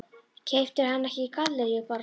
Keyptirðu hana ekki í Gallerí Borg?